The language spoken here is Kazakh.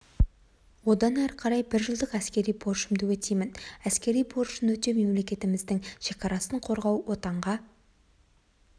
одан әрі қарай бір жылдық әскери борышымды өтеймін әскери борышын өтеу мемлекетіміздің шекарасын қорғау отанға